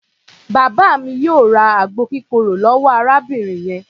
Bàbá mi yóò ra àgbo kírokò lọ́wọ́ arábìnrin yẹn.